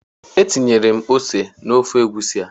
Etinyela m ose n'ofe egusi a.